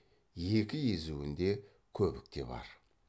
екі езуінде көбік те бар